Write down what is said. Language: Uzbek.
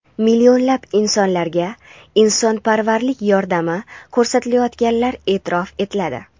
millionlab insonlarga insonparvarlik yordami ko‘rsatayotganlar eʼtirof etiladi.